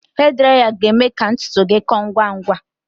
Hee draya ga-eme ka ntutu gị kọọ ngwa